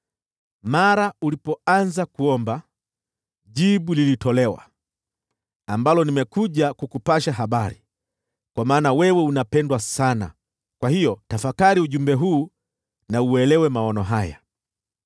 Mara ulipoanza kuomba, jibu lilitolewa, ambalo nimekuja kukupasha habari, kwa maana wewe unapendwa sana. Kwa hiyo, tafakari ujumbe huu na uelewe maono haya: